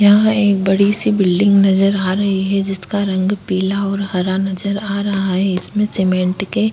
यहां पर एक बड़ी सी बिल्डिंग नजर आ रही है। जिसका रंग पीला और हरा नजर आ रहा है। इसमें सिमेन्ट के --